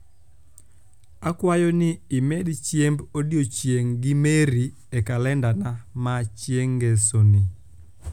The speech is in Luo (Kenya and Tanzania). akwayo ni imedchiemb odiechieng gi mary e kalendana ma chieng ngesoni